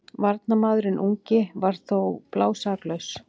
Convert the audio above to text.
Varnarmaðurinn ungi var þó blásaklaus.